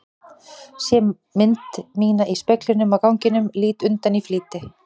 Sé mynd mína í speglinum á ganginum, lít undan í flýti.